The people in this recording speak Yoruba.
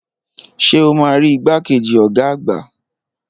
Ṣé o máa rí igbàkejì ọ̀gá àgbà?